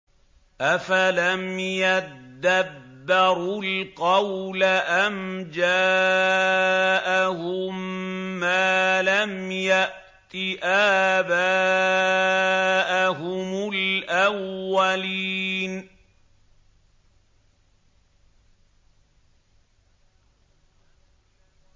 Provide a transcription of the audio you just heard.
أَفَلَمْ يَدَّبَّرُوا الْقَوْلَ أَمْ جَاءَهُم مَّا لَمْ يَأْتِ آبَاءَهُمُ الْأَوَّلِينَ